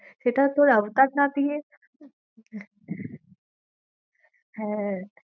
সেটা তোর আফতার না দিয়ে হ্যাঁ,